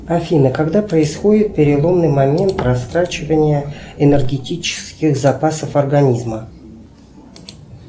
афина когда происходит переломный момент растрачивания энергетических запасов организма